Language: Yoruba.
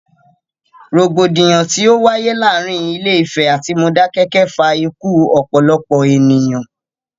Rògbòdìyàn tí o wáyé láàárín Ilé Ìfẹ̀ atí Modákẹ́kẹ́ fa ikú ọ̀pọ̀lọpọ̀ ènìyàn.